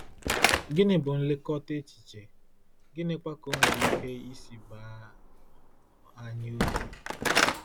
Gịnị bụ nlekọta echiche, gịnịkwa ka o nwere ike isi baa anyị uru?